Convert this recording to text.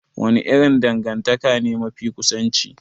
Wani irin dangantaka ne mafi kusanci?